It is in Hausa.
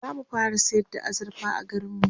zamu fara sayar da azurfa a garinmu